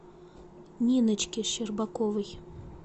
ниночке щербаковой